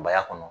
Baya kɔnɔ